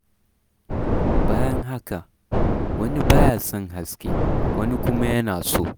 Bayan haka, wani ba ya son haske, wani kuma yana so.